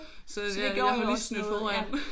Så jeg har jo lige snydt foran